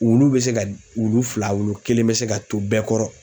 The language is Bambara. Wulu bɛ se ka wulu fila wolo kelen bɛ se ka to bɛɛ kɔrɔ.